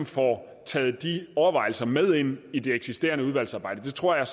får taget de overvejelser med ind i det eksisterende udvalgsarbejde det tror jeg